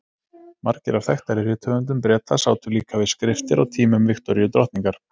margir af þekktari rithöfundum breta sátu líka við skriftir á tímum viktoríu drottningar